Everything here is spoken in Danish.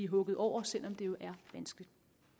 hugget over selv om det er vanskeligt